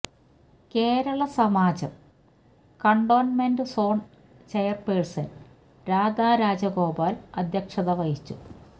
Kerala Samajam cantonment zone chairperson Radha Rajagopal അധ്യക്ഷത വഹിച്ചു